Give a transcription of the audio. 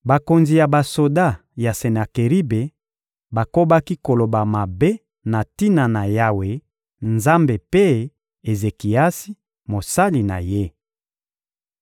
Bakonzi ya basoda ya Senakeribe bakobaki koloba mabe na tina na Yawe Nzambe mpe Ezekiasi, mosali na Ye.